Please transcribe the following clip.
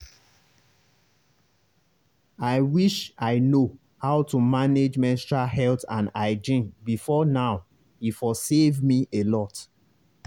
i wish i know how to manage menstrual health and hygiene before now e for save me a lot.